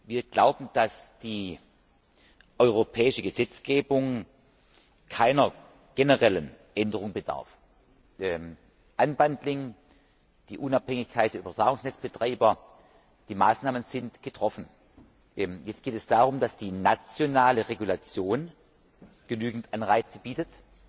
Wir glauben, dass die europäische Gesetzgebung keiner generellen Änderung bedarf. die Unabhängigkeit der Übertragungsnetzbetreiber Die Maßnahmen sind getroffen. Jetzt geht es darum, dass die nationale Regulation genügend Anreize bietet